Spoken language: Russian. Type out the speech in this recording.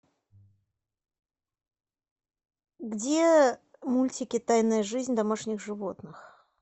где мультики тайная жизнь домашних животных